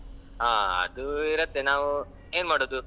ಹ ಅದು ಇರುತ್ತೆ ನಾವು ಏನ್ ಮಾಡುದು.